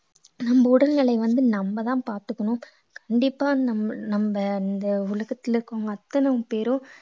நம்ம உடல்நிலை வந்து நம்மதான் பாத்துக்கணும் கண்டிப்பா நம்ம நம்ம இந்த உலகத்துல இருக்கிறவங்க அத்தனை பேரும்